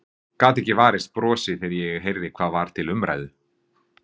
Gat ekki varist brosi þegar ég heyrði hvað var til umræðu.